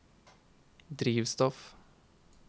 drivstoff